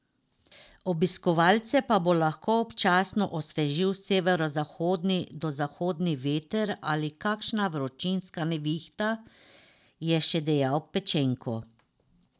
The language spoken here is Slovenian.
Obiskovalce pa bo lahko občasno osvežil severozahodni do zahodni veter ali kakšna vročinska nevihta, je še dejal Pečenko.